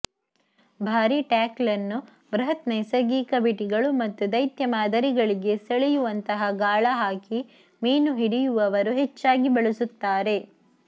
ಭಾರೀ ಟ್ಯಾಕ್ಲ್ ಅನ್ನು ಬೃಹತ್ ನೈಸರ್ಗಿಕ ಬಿಟಿಗಳು ಮತ್ತು ದೈತ್ಯ ಮಾದರಿಗಳಿಗೆ ಸೆಳೆಯುವಂತಹ ಗಾಳಹಾಕಿ ಮೀನು ಹಿಡಿಯುವವರು ಹೆಚ್ಚಾಗಿ ಬಳಸುತ್ತಾರೆ